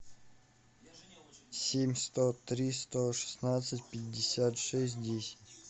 семь сто три сто шестнадцать пятьдесят шесть десять